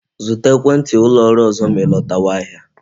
Zụta ekwenti ụlọ ọrụ ọzọ ma I lọtawa ahịa